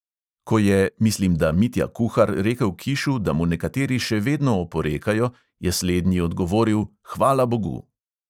Ko je, mislim da mitja kuhar, rekel kišu, da mu nekateri še vedno oporekajo, je slednji odgovoril: hvala bogu!